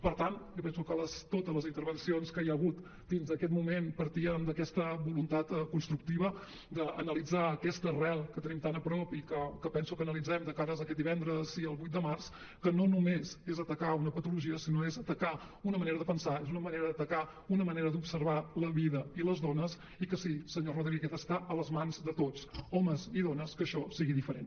per tant jo penso que totes les intervencions que hi ha hagut fins a aquest moment partien d’aquesta voluntat constructiva d’analitzar aquesta arrel que tenim tant a prop i que penso que analitzem de cares a aquest divendres el vuit de març que no només és atacar una patologia sinó és atacar una manera de pensar és una manera d’atacar una manera d’observar la vida i les dones i que sí senyor rodríguez està a les mans de tots homes i dones que això sigui diferent